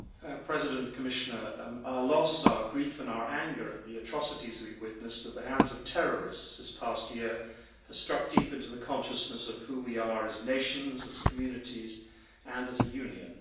Mr President, our loss, our grief and our anger at the atrocities we have witnessed at the hands of terrorists in this past year have struck deep into the consciousness of who we are as nations, as communities and as a Union.